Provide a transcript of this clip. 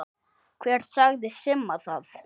Hver sagði Simma það?